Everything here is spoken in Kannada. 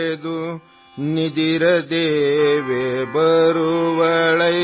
ಕನಸು ಕಿತ್ತು ತರುತ್ತಾಳೆ ಮಲಗು ಮಲಗು